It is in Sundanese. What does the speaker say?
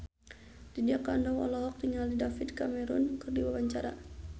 Lydia Kandou olohok ningali David Cameron keur diwawancara